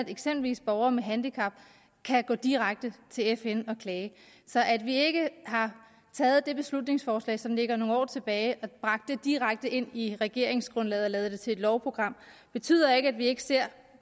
eksempelvis borgere med handicap kan gå direkte til fn og klage så at vi ikke har taget det beslutningsforslag som ligger nogle år tilbage og bragt det direkte ind i regeringsgrundlaget og lavet det til et lovprogram betyder ikke at vi ikke ser